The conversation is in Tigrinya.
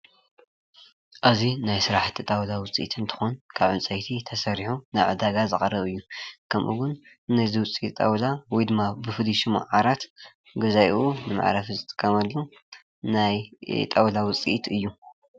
እዚ ናይ ስራሕቲ ጣውላ እንትከውን ካብ ዕንፀይቲ ተሰሪሑ ናብ ዕዳጋ ዝቐርብ እዩ፡፡ ከምኡ እውን ናይ እዚ ውፅኢት ጣውላ ወይ ድማ ብፍሉይ ሽሙ ዓራት ገዛኢ ንመዕረፊ ዝጥቀመሉ ናይ ጣውላ ውፅኢት እዩ፡፡